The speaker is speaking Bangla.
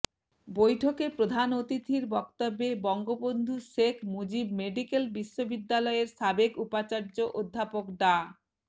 বৈঠকে প্রধান অতিথির বক্তব্যে বঙ্গবন্ধু শেখ মুজিব মেডিকেল বিশ্ববিদ্যালয়ের সাবেক উপাচার্য অধ্যাপক ডা